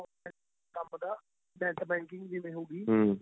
ਕੰਮ ਦਾ net banking ਜਿਵੇਂ ਹੋ ਗਈ